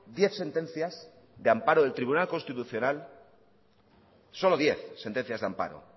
diez sentencias de amparo del tribunal constitucional solo diez sentencias de amparo